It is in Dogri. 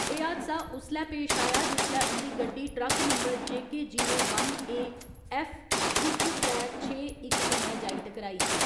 एह् हादसा उसलै पेश आया जिसलै उंदी गड्डी truck number J K zero one A F इक त्रै छे इक कन्नै जाई टकराई।